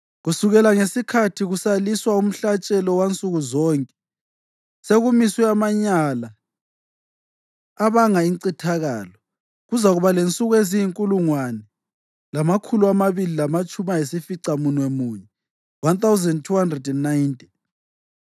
Kusukela ngesikhathi kusaliswa umhlatshelo wansuku zonke, sekumiswe amanyala abanga incithakalo, kuzakuba lensuku eziyinkulungwane lamakhulu amabili lamatshumi ayisificamunwemunye (1,290).